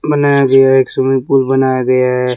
बनाया गया एक स्विमिंग पूल बनाया गया--